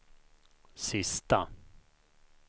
sista